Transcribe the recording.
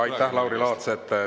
Aitäh, Lauri Laats!